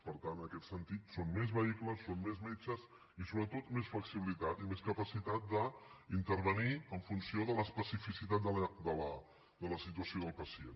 per tant en aquest sentit són més vehicles són més metges i sobretot més flexibilitat i més capacitat d’intervenir en funció de l’especificitat de la situació del pacient